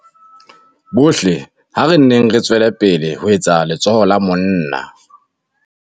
Bohle ha re nneng re tswe lepele ho etsa letsoho la monna.